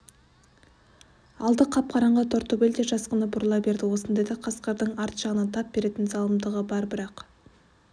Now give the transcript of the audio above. алды қап-қараңғы тортөбел де жасқанып бұрыла берді осындайда қасқырдың арт жағыңнан тап беретін залымдығы бар бірақ